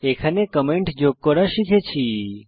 এখানে কমেন্ট যোগ করা শিখেছি